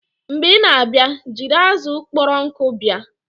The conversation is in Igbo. Mgbe ị na-abịa, jiri azụ kpọrọ nkụ bịa!